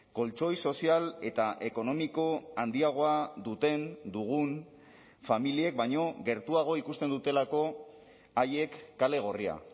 koltxoi sozial eta ekonomiko handiagoa duten dugun familiek baino gertuago ikusten dutelako haiek kale gorria